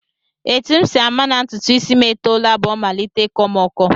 Etu m si ama na ntụtụisi m etoola bụ o malite ịkọ m ọkọ